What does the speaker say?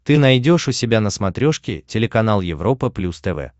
ты найдешь у себя на смотрешке телеканал европа плюс тв